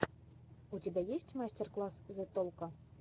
у тебя есть мастер класс зе толко